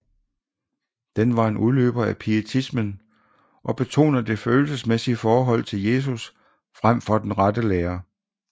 Den var en udløber af pietismen og betoner det følelsesmæssige forhold til Jesus frem for den rette lære